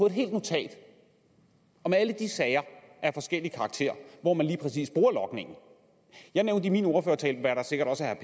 et helt notat om alle de sager af forskellig karakter hvor man lige præcis bruger logningen jeg nævnte i min ordførertale hvad der sikkert også er